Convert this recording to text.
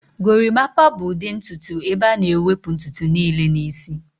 Gorimapaa bụ ụdị ntutu ebe a na-ewepụ ntutu niile n'isi